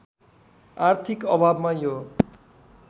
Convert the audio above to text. आर्थिक अभावमा यो